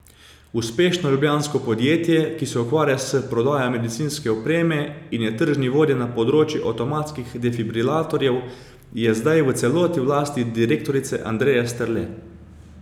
Uspešno ljubljansko podjetje, ki se ukvarja s prodajo medicinske opreme in je tržni vodja na področju avtomatskih defibrilatorjev, je zdaj v celoti v lasti direktorice Andreje Strle.